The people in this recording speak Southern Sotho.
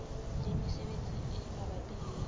le mesebetsi e mabapi le